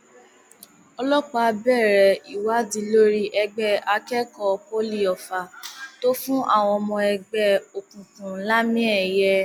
ọlọpàá bẹrẹ ìwádìí lórí ẹgbẹ akẹkọọ poli ofá tó fún àwọn ọmọ ẹgbẹ òkùnkùn lámìẹyẹ